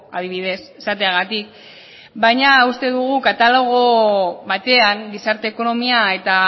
adibidez esateagatik baina uste dugu katalogo batean gizarte ekonomia eta